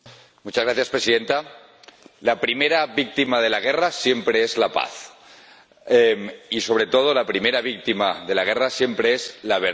Señora Presidenta, la primera víctima de la guerra siempre es la paz y, sobre todo, la primera víctima de la guerra siempre es la verdad.